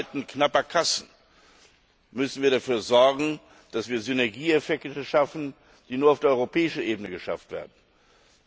In Zeiten knapper Kassen müssen wir dafür sorgen, dass wir Synergieeffekte schaffen, die nur auf der europäischen Ebene erreicht werden können.